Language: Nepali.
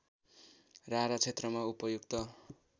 रारा क्षेत्रमा उपर्युक्त